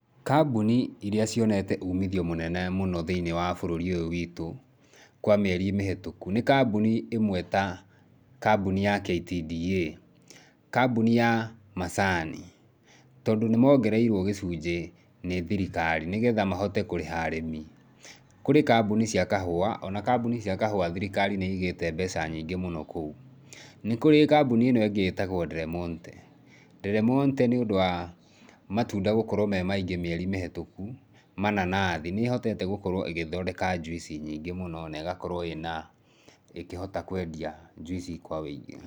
Kambuni iria cionete uumithio mũnene mũno thĩinĩ wa bũrũri ũyũ witũ kwa mĩeri mĩhĩtũku nĩ kambuni ĩmwe ta kambuni ya KTDA, kambuni ya macani. Tondũ nĩ moongereirwo gĩcunjĩ nĩ thirikari nĩgetha mahote kũrĩha arĩmi. Kũrĩ kambuni cia kahũa, o na kambuni cia kahũa thirikari nĩ ĩigĩte mbeca nyingĩ mũno kũu. Nĩ kũrĩ kambuni ĩno ĩngĩ ĩtagwo Del Monte. Del Monte, nĩũndu wa matunda gũkorwo me maingĩ mĩeri mĩhĩtũkũ, mananathi, nĩ ĩhotete gũkorwo ĩgĩthondeka juice nyingĩ mũno na ĩgakorwo ĩna, ĩkĩhota kwendia juice kwa wũingĩ.